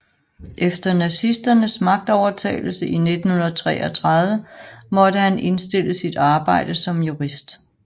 Efter nazisternes magtovertagelse i 1933 måtte han indstille sit arbejde som jurist